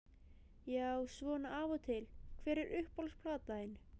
Já svona af og til Hver er uppáhalds platan þín?